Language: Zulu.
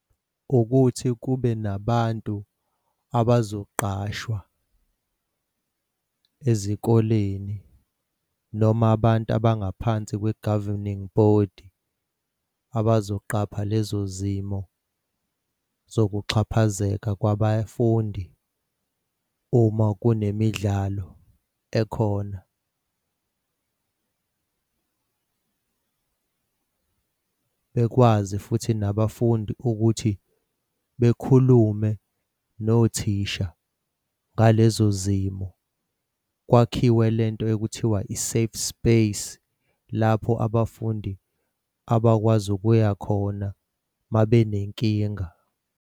Ukuthi kube nabantu abazoqashwa ezikoleni noma abantu abangaphansi kwe-governing body abazoqapha lezo zimo zokuxhaphazeka kwabafundi uma kunemidlalo ekhona. Bekwazi futhi nabafundi ukuthi bekhulume nothisha ngalezo zimo kwakhiwe lento ekuthiwa i-safe space lapho abafundi abakwazi ukuya khona uma benenkinga.